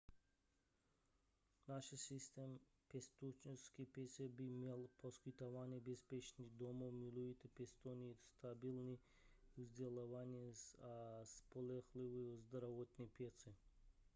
náš systém pěstounské péče by měl poskytovat bezpečný domov milující pěstouny stabilní vzdělávání a spolehlivou zdravotní péči